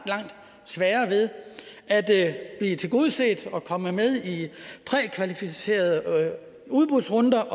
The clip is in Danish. sværere ved at blive tilgodeset og komme med i prækvalificerede udbudsrunder